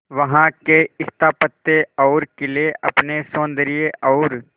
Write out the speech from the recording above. वहां के स्थापत्य और किले अपने सौंदर्य और